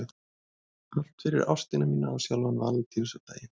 Allt fyrir ástina mína á sjálfan Valentínusardaginn.